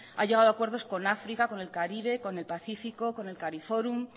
ha llegado a acuerdos con áfrica con el caribe con el pacífico con el cariforum